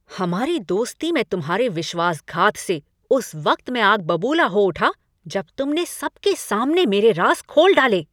हमारी दोस्ती में तुम्हारे विश्वासघात से उस वक्त मैं आग बबूला हो उठा जब तुमने सबके सामने मेरे राज़ खोल डाले।